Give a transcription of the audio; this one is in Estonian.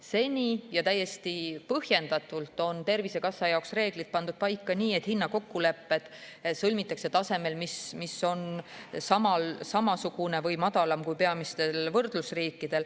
Seni – ja täiesti põhjendatult – on Tervisekassa jaoks reeglid pandud paika nii, et hinnakokkulepe sõlmitakse tasemel, mis on samasugune või madalam kui peamistes võrdlusriikides.